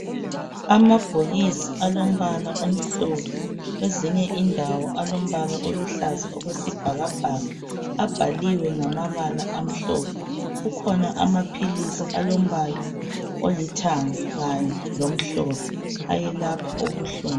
amabhokisi alombala omhlophe kwezinye indawo alombala oluhlaza okwesibhakabhaka abhaliwe ngamabala amhlophe kukhona amaphilisi alombala olithanga kanye lomhlophe ayelapha ubuhlungu